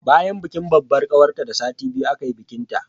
Bayan bikin babbar ƙawarta da sati biyu aka yi bikinta